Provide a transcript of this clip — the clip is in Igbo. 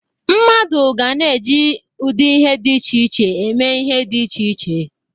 Mmadụ ga na-eji ụdị ihe dị iche iche eme ihe dị iche iche.